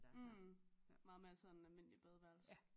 Mh meget mere sådan almindelig badeværelse